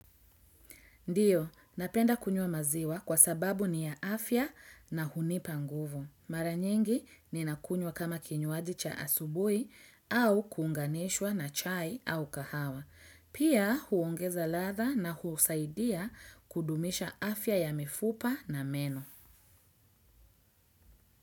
Ndiyo, napenda kunywa maziwa kwa sababu ni ya afya na hunipa nguvu. Mara nyingi ninakunywa kama kinywaji cha asubuhi au kuunganishwa na chai au kahawa. Pia huongeza ladha na husaidia kudumisha afya ya mifupa na meno.